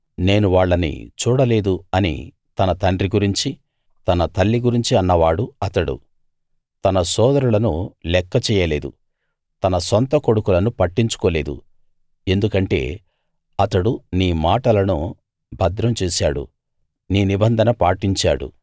నేను వాళ్ళని చూడలేదు అని తన తండ్రి గురించి తన తల్లి గురించి అన్నవాడు అతడు తన సోదరులను లెక్క చెయ్యలేదు తన సొంత కొడుకులను పట్టించుకోలేదు ఎందుకంటే అతడు నీ మాటలను భద్రం చేశాడు నీ నిబంధన పాటించాడు